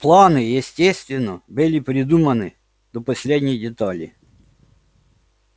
планы естественно были придуманы до последней детали